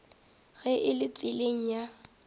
ge e le tseleng ya